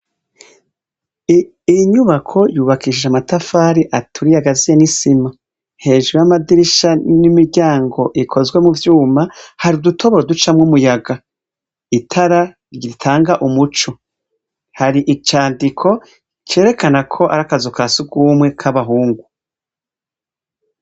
Iyi nyubako yubakishije amatafari aturiye agaziye n'isima. Hejuru y'amadirisha n'imiryango ikozwe mu vyuma, hari udutoboro ducamwo umuyaga. Itara ritanga umuco. Hari icandiko cerekana ko ari akazu ka surwumwe k'abahungu.